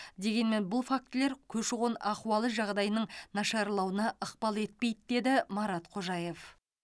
дегенмен бұл фактілер көші қон ахуалы жағдайының нашарлауына ықпал етпейді деді марат қожаев